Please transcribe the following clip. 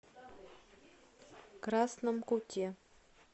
красном куте